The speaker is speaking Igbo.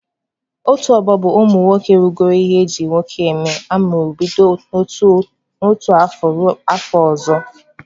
Otu ọgbọ bụ ụmụ nwoke rugoro ihe eji nwoke eme amụrụ bido n'otu afọ ruo afọ ọzọ.